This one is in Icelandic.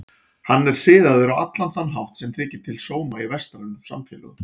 Hann er siðaður á allan þann hátt sem þykir til sóma í vestrænum samfélögum.